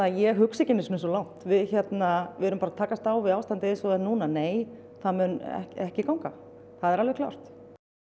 ég hugsa ekki einu sinni svo langt við erum bara að takast á við ástandið eins og það er núna nei það mun ekki ganga það er alveg klárt